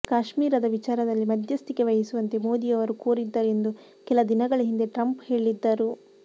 ಕಾಶ್ಮೀರದ ವಿಚಾರದಲ್ಲಿ ಮಧ್ಯಸ್ಥಿಕೆ ವಹಿಸುವಂತೆ ಮೋದಿ ಅವರು ಕೋರಿದ್ದರು ಎಂದು ಕೆಲ ದಿನಗಳ ಹಿಂದೆ ಟ್ರಂಪ್ ಹೇಳಿದ್ದರು